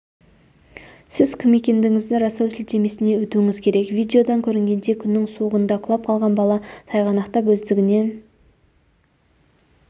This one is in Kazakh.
сіз кім екендігіңізді растау сілтемесіне өтуіңіз керек видеодан көрінгендей күннің суығында құлап қалған бала тайғанақтап өздігінен